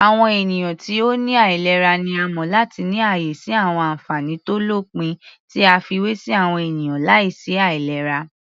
Àwọn ènìyàn ti ó ní àìlera ni a mọ̀ láti ní ààyè sí àwọn ànfàní tó lópin tí a fiwé sí àwọn ènìyàn láìsí àìlera.